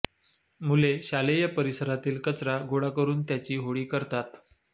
मुले शालेय परिसरातील कचरा गोळा करून त्याची होळी करतात